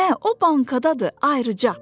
Hə, o bankadadır, ayrıca.